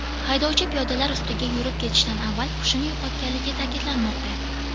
Haydovchi piyodalar ustiga yurib ketishdan avval hushini yo‘qotganligi ta’kidlanmoqda.